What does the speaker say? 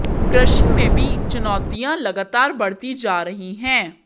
कृषि में भी चुनौतियां लगातार बढ़ती जा रही हैं